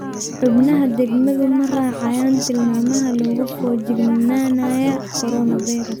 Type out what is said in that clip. Xubnaha degmadu ma raacayaan tilmaamaha logaa fojignanaya coronavirus.